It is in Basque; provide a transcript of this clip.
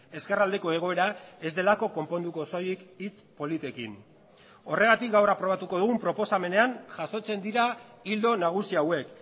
ezkerraldeko egoera ez delako konponduko soilik hitz politekin horregatik gaur aprobatuko dugun proposamenean jasotzen dira ildo nagusi hauek